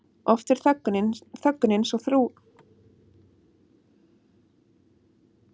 Oft er þöggunin svo þrúgandi að karlmenn sjá enga leið út nema stytta sér aldur.